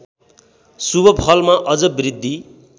शुभफलमा अझ बृद्धि